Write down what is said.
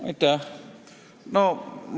Aitäh!